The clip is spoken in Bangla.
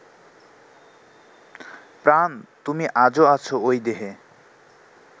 প্রাণ, তুমি আজো আছ ঐ দেহে